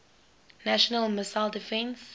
national missile defense